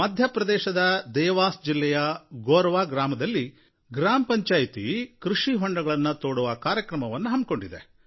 ಮಧ್ಯಪ್ರದೇಶದ ದೇವಾಸ್ ಜಿಲ್ಲೆಯ ಗೋರವಾ ಗ್ರಾಮದಲ್ಲಿ ಗ್ರಾಮಪಂಚಾಯಿತಿಯು ಕೃಷಿ ಹೊಂಡಗಳನ್ನು ತೋಡುವ ಕಾರ್ಯಯೋಜನೆಯನ್ನು ಹಾಕಿಕೊಂಡಿತು